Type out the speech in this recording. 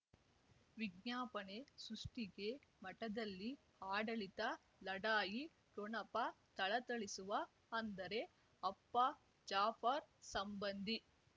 ವಿಜ್ಞಾಪನೆ ಸೃಷ್ಟಿಗೆ ಮಠದಲ್ಲಿ ಆಡಳಿತ ಲಢಾಯಿ ಠೊಣಪ ಥಳಥಳಿಸುವ ಅಂದರೆ ಅಪ್ಪ ಜಾಫರ್ ಸಂಬಂಧಿ